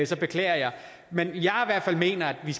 så beklager jeg men jeg mener i